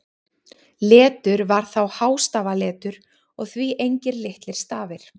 Letur var þá hástafaletur og því engir litlir stafir.